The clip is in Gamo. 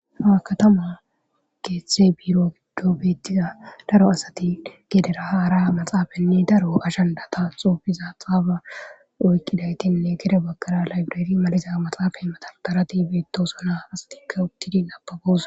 Ha katama keetha biiro giddon beetiza daro asati deetees. Gedera haara maxaafenne daro ajjandata xuufiza xaaba oykidaytinne gede baggara laybereri maliza maaxefey madardaren beetoosona. Asatika uttidi nababoosona.